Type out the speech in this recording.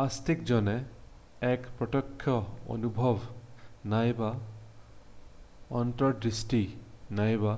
আস্তিকজনে এক প্ৰতক্ষ্য অনুভৱ নাইবা অন্তৰ্দৃষ্টি নাইবা